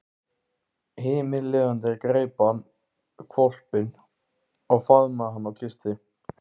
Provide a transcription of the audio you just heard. Himinlifandi greip hann hvolpinn og faðmaði hann og kyssti.